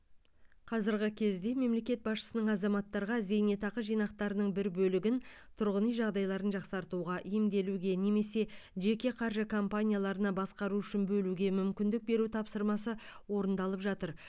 қазіргі кезде мемлекет басшысының азаматтарға зейнетақы жинақтарының бір бөлігін тұрғын үй жағдайларын жақсартуға емделуге немесе жеке қаржы компанияларға басқару үшін бөлуге мүмкіндік беру тапсырмасы орындалып жатыр